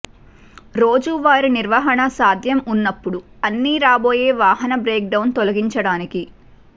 రోజువారీ నిర్వహణ సాధ్యం ఉన్నప్పుడు అన్ని రాబోయే వాహనం బ్రేక్డౌన్ తొలగించడానికి